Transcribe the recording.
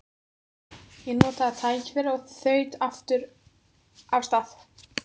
Ég notaði tækifærið og þaut aftur af stað.